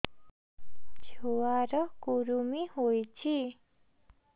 ଛୁଆ ର କୁରୁମି ହୋଇଛି